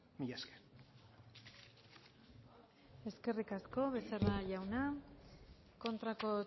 mila esker eskerrik asko becerra jauna kontrako